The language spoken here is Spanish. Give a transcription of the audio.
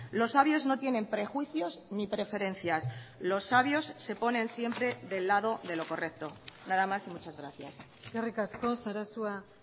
los sabios no tienen prejuicios ni preferencias los sabios se ponen siempre del lado de lo correcto nada más y muchas gracias eskerrik asko sarasua